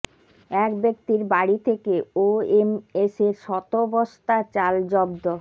এক ব্যক্তির বাড়ি থেকে ওএমএসের শত বস্তা চাল জব্দ